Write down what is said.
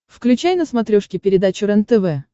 включай на смотрешке передачу рентв